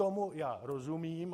Tomu já rozumím.